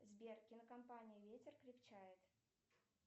сбер кинокомпания ветер крепчает